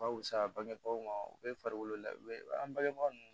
Ka wusa bangebaw ma u bɛ farikolo la u bɛ an bangebaga ninnu